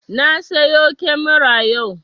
Na siyo kyamara yau